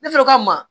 Ne fɛnɛ ka ma